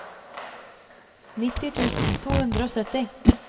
nitti tusen to hundre og sytti